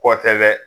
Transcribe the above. Kɔ tɛ dɛ